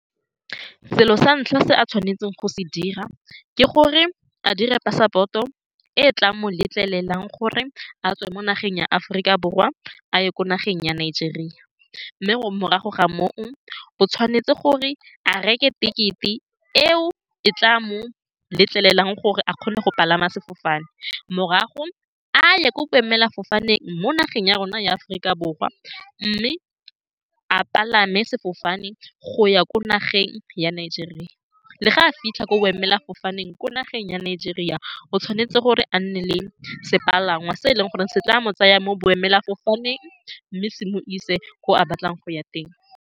Selo sa ntlha se a tshwanetseng go se dira ke gore a dire passport-o, e e tlang mo letlelelang gore a tswe mo nageng ya Aforika Borwa a ye ko nageng ya Nigeria, mme morago ga moo o tshwanetse gore a reke ticket-e, eo e tla mo letlelelang gore a kgone go palama sefofane, morago a ye ko boemelafofaneng mo nageng ya rona ya Aforika Borwa mme a palame sefofane go ya ko nageng ya Nigeria. Le fa a fitlha ko boemelafofaneng ko nageng ya Nigeria, o tshwanetse gore a nne le sepalangwa se e leng gore se tla mo tsaya mo boemelafofaneng mme se mo ise ko a batlang go ya teng.